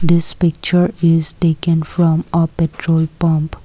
this picture is taken from a petrol pump.